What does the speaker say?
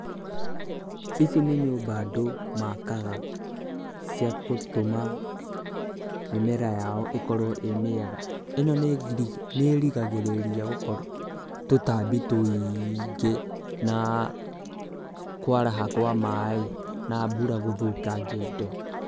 Ici nĩ nyũmba andũ makaga cia kũtũma mĩmera yao ĩkorwo ĩ mĩega. Ĩno nĩ ĩrigagĩrĩria tũtambi tũingĩ na kwaraha kwa maaĩ na mbura gũthũkangia indo.